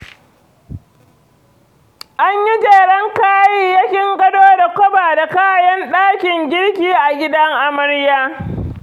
An yi jeren kayayyakin gado da kwaba da kayan ɗakin girki a gidan amarya.